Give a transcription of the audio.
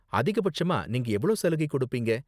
அதிகபட்சமா நீங்க எவ்ளோ சலுகை கொடுப்பீங்க?